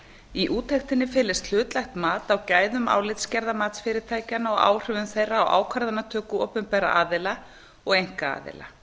í úttektinni felist hlutlægt mat á gæðum álitsgerða matsfyrirtækjanna og áhrifum þeirra á ákvarðanatöku opinberra aðila og einkaaðila